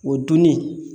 O dunni